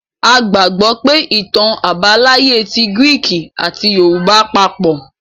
A gbàgbọ́ pé ìtàn àbáláyé ti gíríkì àti yorùbá papọ̀.